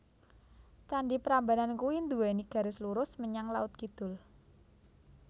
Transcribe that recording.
Candi Prambanan kui nduweni garis lurus menyang laut kidul